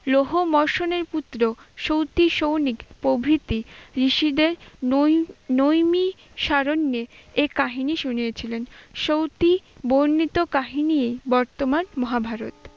লৌহ মর্ষণের পুত্র সৌতী সৌনিক প্রভৃতি ঋষিদের নৈ~নৈমি শারণ্যে এ কাহিনী শুনিয়েছিলেন। সৌতী বর্ণিত কাহিনীই বর্তমান মহাভারত।